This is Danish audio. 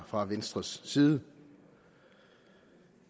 fra venstres side